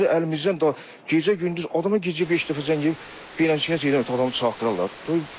Əlimizdən da gecə-gündüz adama gecə beş dəfə zəng edib beləçə adamı çartdıralar.